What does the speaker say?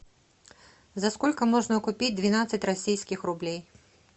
за сколько можно купить двенадцать российских рублей